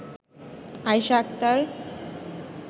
Ayesha Akter